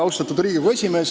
Austatud Riigikogu esimees!